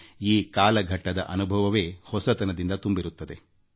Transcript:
ಒಂದು ರೀತಿಯಲ್ಲಿ ಈ ಕಾಲದ ಅನುಭವ ಹೊಸತನದಿಂದ ಕೂಡಿ ವಿಶಿಷ್ಠ ಅನುಭವ ನೀಡುತ್ತದೆ